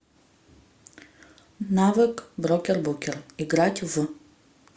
навык брокербукер играть в